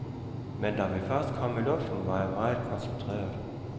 Men da vi først kom i luften, var jeg meget koncentreret.